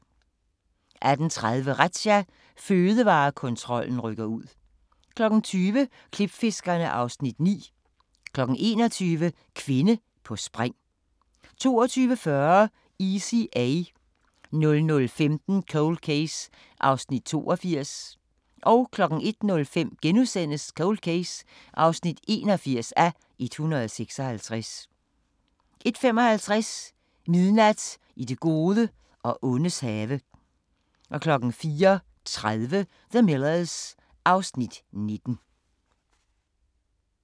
18:30: Razzia – Fødevarekontrollen rykker ud 20:00: Klipfiskerne (Afs. 9) 21:00: Kvinde på spring 22:40: Easy A 00:15: Cold Case (82:156) 01:05: Cold Case (81:156)* 01:55: Midnat i det gode og ondes have 04:30: The Millers (Afs. 19)